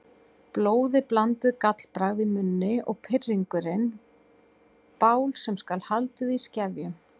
Blóðiblandið gallbragð í munni og pirringurinn bál sem skal haldið í skefjum.